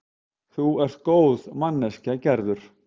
Þú ert góð manneskja, Gerður.